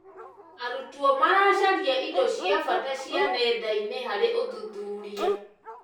Arutwo maracaria indo cia bata cia nenda-inĩ harĩ ũthuthuria.